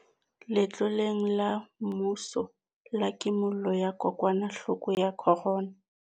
Letloleng la mmuso la Kimollo ya Kokwanahloko ya Corona.